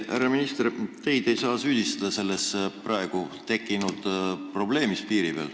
Härra minister, teid ei saa selles praegu piiri peal tekkinud probleemis süüdistada.